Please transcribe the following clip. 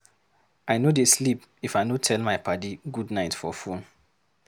I no dey sleep if I no tell my paddy goodnight for fone.